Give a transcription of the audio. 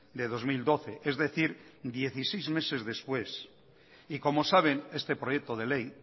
de dos mil doce es decir dieciséis meses después y como saben este proyecto de ley